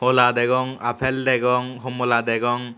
hola degong aapel degong homola degong.